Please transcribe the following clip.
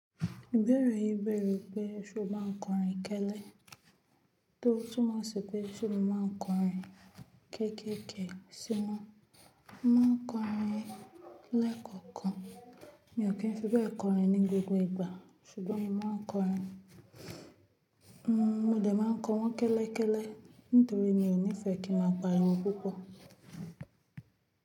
Ìbéèrè yìí bẹ̀rẹ̀ pé ṣé o máa ń kọrin kélé? Tó túmọ̀ sí pé ṣé mo máa ń kọrin kéékèèké sí wọn. Mo ma ń kọrin lẹ́ẹ̀kọ̀kan. Mi ò kí ń fi bẹ́ẹ̀ kọrin ní gbogbo ìgbà ṣùgbọ́n mo ma ń kọrin. Mo dẹ̀ má ń kọ wọn kẹ́lẹ́kẹ́lẹ́ nítorí mi ò nífẹ́ kí n máa pariwo púpọ̀.